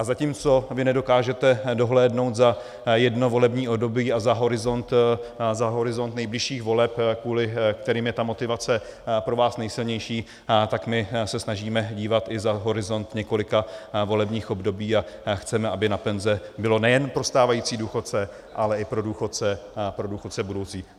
A zatímco vy nedokážete dohlédnout za jedno volební období a za horizont nejbližších voleb, kvůli kterým je ta motivace pro vás nejsilnější, tak my se snažíme dívat i za horizont několika volebních období a chceme, aby na penze bylo nejen pro stávající důchodce, ale i pro důchodce budoucí.